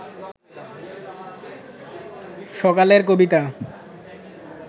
সকালের কবিতা